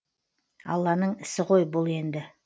алланың ісі ғой бұл енді